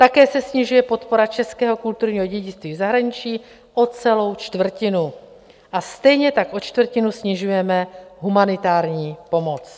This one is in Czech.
Také se snižuje podpora českého kulturního dědictví v zahraničí o celou čtvrtinu a stejně tak o čtvrtinu snižujeme humanitární pomoc.